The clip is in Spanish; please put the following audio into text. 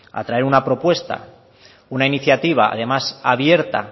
a traer una propuesta una iniciativa además abierta